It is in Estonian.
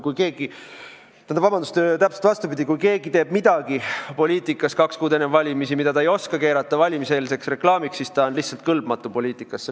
Kui keegi teeb midagi poliitikas kaks kuud enne valimisi, mida ta ei oska keerata valimiseelseks reklaamiks, siis ta on lihtsalt poliitikategemiseks kõlbmatu.